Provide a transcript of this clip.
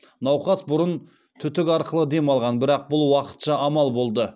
науқас бұрын түтік арқылы дем алған бірақ бұл уақытша амал болды